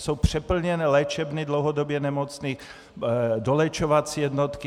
Jsou přeplněné léčebny dlouhodobě nemocných, doléčovací jednotky.